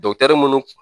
munnu